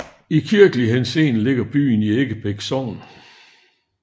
I kirkelig henseende ligger byen i Eggebæk Sogn